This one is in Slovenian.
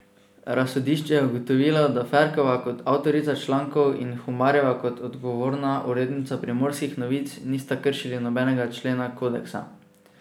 Razsodišče je ugotovilo, da Ferkova kot avtorica člankov in Humarjeva kot odgovorna urednica Primorskih novic nista kršili nobenega člena kodeksa.